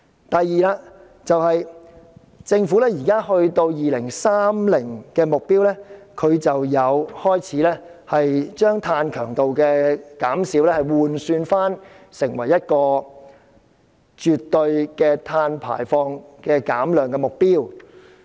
第二，政府就2030年的目標，已將碳強度的減少換算成為絕對碳排放減量的目標。